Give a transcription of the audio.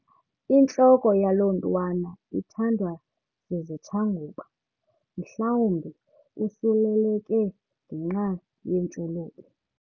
Intloko yalo mntwana ithandwa zizitshanguba mhlawumbi usuleleke ngenxa yeentshulube.